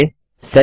step 6